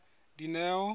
dineo